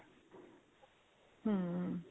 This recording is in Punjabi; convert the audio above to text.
ਹਮ